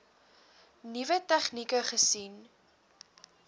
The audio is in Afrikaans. nuwe tegnieke gesien